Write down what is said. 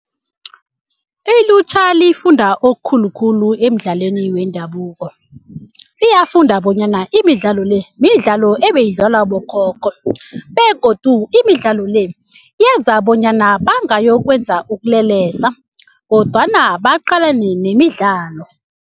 Ilutjha lifunda okukhulukhulu emidlalweni wendabuko. Iyafunda bonyana imidlalo le midlalo ebeyidlalwa bokhokho begodu imidlalo le yenza bonyana bangayokwenza ukulelesa kodwana baqalane nemidlalo.